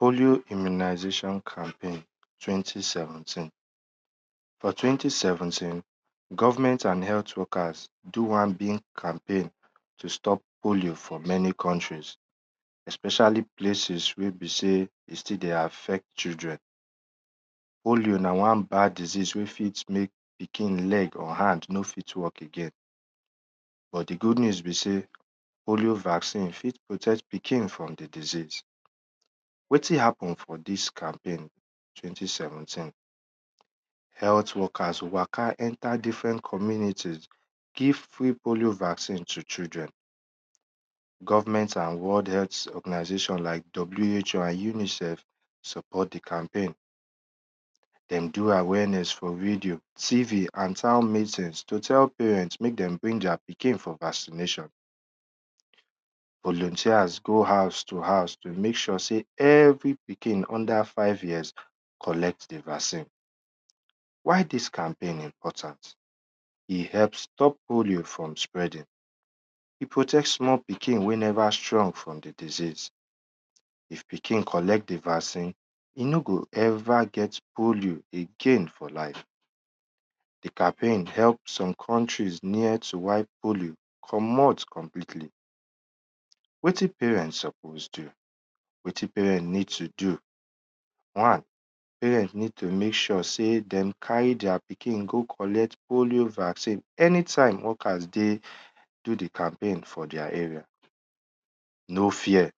Polio immunization campaign for twenty seventeen. For twenty seventeen, government and health workers do wan big campaign fr many countries especiall places wey be sey e still dey affect children. Polio na wan bad diseas wey fit mek pikin leg or hand no fit walk again but di good news be sey polio vaccine fit protect pikin from di disese. Wetin happemn for di campaign twenty seventeen, health worker waka enter dofferent communities give free polo vaccine tyo children, government awards organixation like who and unicEF support di campaign, dem do awareness for radio, TVand townmessge to tell parent mek dem bring their pikin for vaccination, go hose to house to mek sure sey every pikin under five years collect di vaccine. Why dis campaign important, e help stop poilo from spreading, e protects small pikin wey neva strong from di disease, if pikin collect di vaccine, e no go ever get polio for e life again. Di campaign help some countries near to why polio commot completely. Wetin parent suppose do? Wetin parent need to do/ one, parent ned to mek sure sey dem carry their pikin go collect polio vaccine any time workers do di campaign for their area, no fear,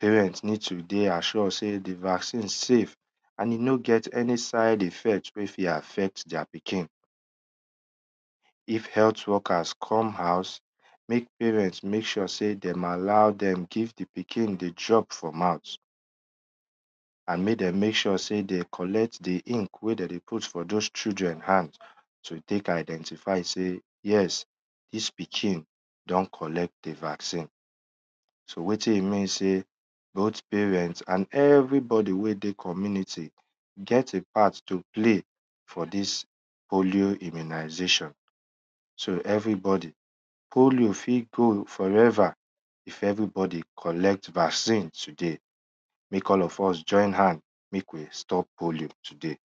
parent need to dey assure sey di vaccine save and e no get any sde effect wey e fit ffect their pikin. If health workers come house, mek parent mek sure sey dem allow dem give di pikin di drop for mouth. Andmek dem mek sure sey den collect di ink wey dem dey put for those children hand to tek identify sey yes dis pikin don collect di vaccine. So wetin remain sey both parent and everybody wey dey community get a part to play for dis polio immunization. Everybody polio fit go foever if everybody collect vaccine tody, mek all of us join hand mek we stop polio today.